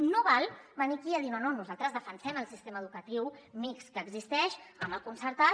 no val venir aquí a dir no no nosaltres defensem el sistema educatiu mixt que existeix amb el concertat